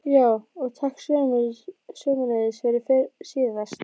. já, og takk sömuleiðis fyrir síðast.